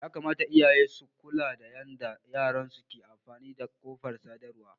Yakamata iyaye su kula da yanda yaransu ke amfani da kafar sadarwa.